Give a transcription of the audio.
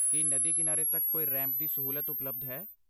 ਕੀ ਨਦੀ ਕਿਨਾਰੇ ਤੱਕ ਕੋਈ ਰੈਂਪ ਦੀ ਸਹੂਲਤ ਉਪਲਬਧ ਹੈ?